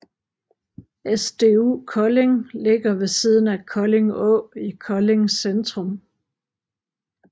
SDU Kolding ligger ved siden af Kolding Å i Kolding centrum